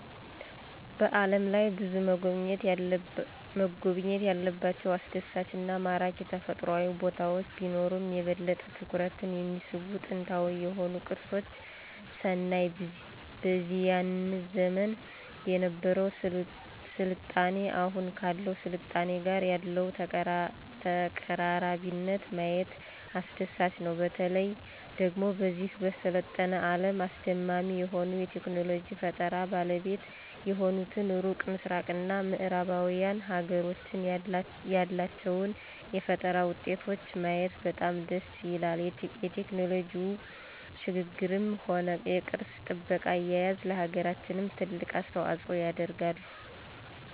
በዓለም ላይ ብዙ መጎብኘት ያለባቸው አስደሳች እና ማራኪ ተፈጥሮአዊ ቦታወች ቢኖሩም የበለጠ ትኩረትን የሚስቡ ጥንታዊ የሆኑ ቅርሶች ስናይ በዚያን ዘመን የነበረው ስልጣኔ አሁኑ ካለው ስልጣኔ ጋር ያለውን ተቀራራቢነት ማየት አስደሳች ነው። በተለየ ደግሞ በዚህ በሰለጠነ አለም አስደማሚ የሆኑ የቴክኖሎጂ ፈጠራ ባለቤት የሆኑትን ሩቅ ምስራቅ እና ምዕራባውያን ሀገሮችን ያላቸውን የፈጠራ ውጤቶች ማየት በጣም ደስ ይላል የቴክኖሎጂው ሽግግርም ሆነ የቅርስ ጥበቃ አያያዝ ለሀገራችንም ትልቅ አስተዋጽኦ ያደርጋሉ።